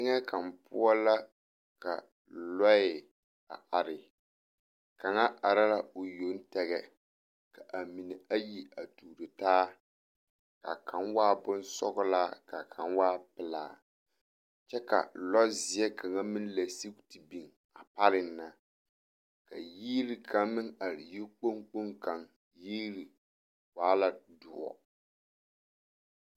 Teŋɛ kaŋa poɔ la ka lɔɛ a are kaŋa are la o yoŋ tɛgɛ k,a mine ayi a tuuro taa ka kaŋ waa bonsɔglaa ka kaŋ waa pelaa kyɛ ka lɔzeɛ kaŋ meŋ lɛ sigi te biŋ a pareŋ na ka yiri kaŋ meŋ are yikpoŋ kpoŋ kaŋ yiri waa la doɔ.